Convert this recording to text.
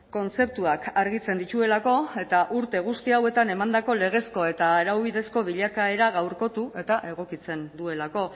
kontzeptuak argitzen dituelako eta urte guzti hauetan emandako legezko eta araubidezko bilakaera gaurkotu eta egokitzen duelako